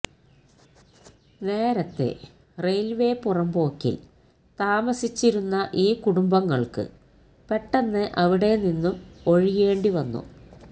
നേര്തതെ railway പുറമ്പോക്കില് താമസിച്ചിരുന്ന ഈ കുടുംബങ്ങള്ക്ക് പെട്ടെന്ന് അവിടെ നിന്നും ഒഴിയേണ്ടിവന്നു